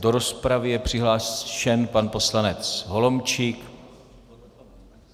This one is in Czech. Do rozpravy je přihlášen pan poslanec Holomčík.